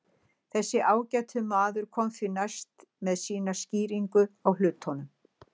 Þessi ágæti maður kom því næst með sína skýringu á hlutunum.